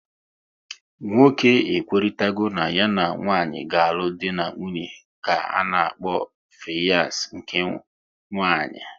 Nwoke e kwekoritarago na ya na nwanyị ga-alụ dị na nwunye ka ana-akpọ fiyans nke nwanyị